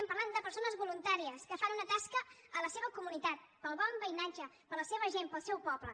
parlem de persones voluntàries que fan una tasca a la seva comunitat pel bon veïnatge per la seva gent pel seu poble